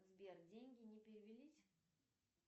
сбер деньги не перевелись